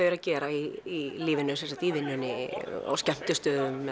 eru að gera í lífinu í vinnunni á skemmtistöðum